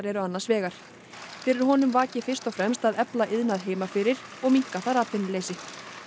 eru annars vegar fyrir honum vaki fyrst og fremst að efla iðnað heima fyrir og minnka atvinnuleysi